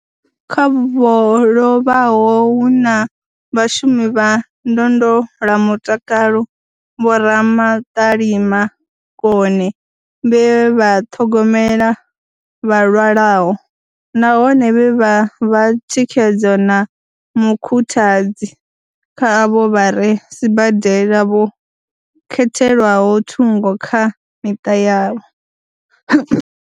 Kha vho lovhaho hu na vhashumi vha ndondolamutakalo, vho Ramaṱalima Kone vhe vha ṱhogomela vha lwalaho, nahone vhe vha vha thikhedzo na mukhuthadzi kha avho vha re sibadela vho khethelwaho thungo kha miṱa yavho.